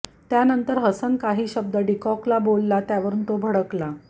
त्यानंतर हसन काही शब्द डीकॉकला बोलला त्यावरुन तो भडकला